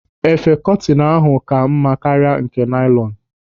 Efe kọtinu ahụ ka mma karịa nke nailọnu.